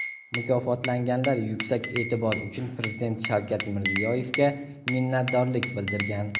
Mukofotlanganlar yuksak e’tibor uchun Prezident Shavkat Mirziyoyevga minnatdorlik bildirgan.